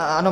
Ano.